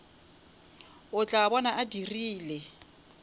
o tla bona a dirile